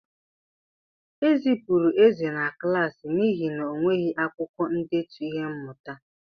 Ezipụrụ Eze na klaasị n'ihi na o nweghị akwukwo ndetu ihe mmụta.